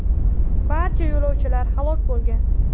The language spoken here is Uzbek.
Barcha yo‘lovchilar halok bo‘lgan .